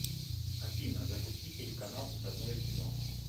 афина запусти телеканал родное кино